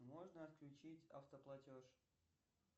можно отключить автоплатеж